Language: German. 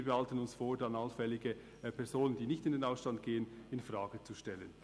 Wir behalten uns vor, dann allfällige Personen, die nicht in den Ausstand gehen, infrage zu stellen.